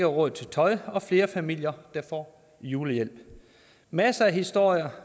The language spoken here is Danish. råd til tøj og flere familier der får julehjælp masser af historier